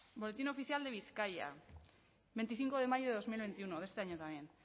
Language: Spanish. boletín oficial de bizkaia veinticinco de mayo de dos mil veintiuno de este año también